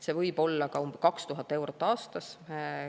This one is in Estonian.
See võib olla ka 2000 eurot aastas.